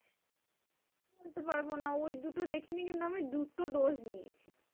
বলতে পারবো না ওই দুটো দেখিনি কিন্তু আমি দুটো dose নিয়েছি।